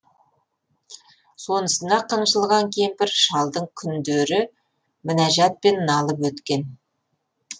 сонысына қынжылған кемпір шалдың күндері мінәжатпен налып өткен